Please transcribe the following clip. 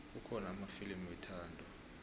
kukhona amafilimu wethando